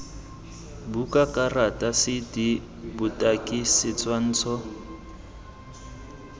buka karata cd botaki setshwantsho